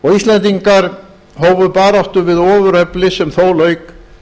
og íslendingar hófu baráttu við ofurefli sem þó lauk